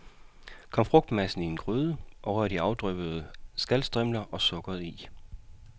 Kom frugtmassen i en gryde, og rør de afdryppede skalstrimler og sukkeret i.